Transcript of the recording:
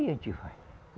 A gente vai.